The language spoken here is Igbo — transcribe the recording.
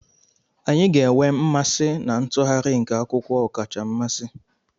Anyị ga-enwe mmasị na ntụgharị nke akwụkwọ ọkacha mmasị.